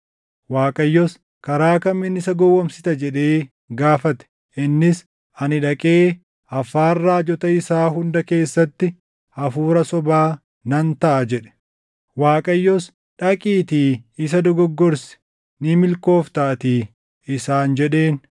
“ Waaqayyos, ‘Karaa kamiin isa gowwoomsita?’ jedhee gaafate. “Innis, ‘Ani dhaqee afaan raajota isaa hunda keessatti hafuura sobaa nan taʼa’ jedhe. “ Waaqayyos, ‘Dhaqiitii isa dogoggorsi; ni milkooftaatii’ isaan jedheen.